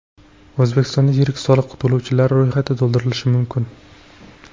O‘zbekistonda yirik soliq to‘lovchilar ro‘yxati to‘ldirilishi mumkin.